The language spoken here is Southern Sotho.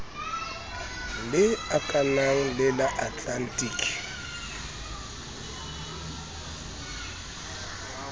le akanang le la atlantic